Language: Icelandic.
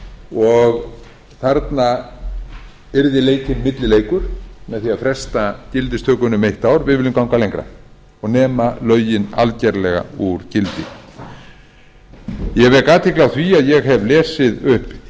og þarna yrði leikinn millileikur með því að fresta gildistökunni um eitt ár við viljum ganga lengra og nema lögin algjörlega úr gildi ég vek athygli á því að ég hef lesið upp